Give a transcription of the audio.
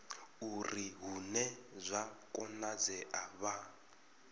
uri hune zwa konadzea vha